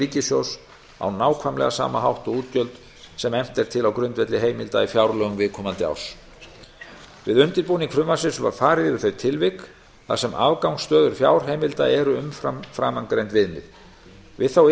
ríkissjóðs á nákvæmlega sama hátt og útgjöld sem efnt er til á grundvelli heimilda í fjárlögum viðkomandi árs við undirbúning frumvarpsins var farið yfir þau tilvik þar sem afgangsstöður fjárheimilda eru umfram framangreind viðmið við þá